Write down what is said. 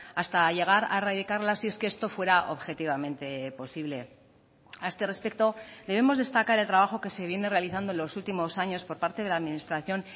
hasta llegar a erradicarla si es que esto fuera objetivamente posible a este respecto debemos destacar el trabajo que se viene realizando en los últimos años por parte de la administración